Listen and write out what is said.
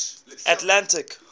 atlantic